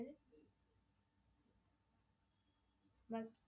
வக்